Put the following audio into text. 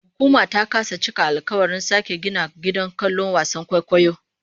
Hukuma ta kasa cika alkawarin sake gina gidan kallon wasan kwaikwayon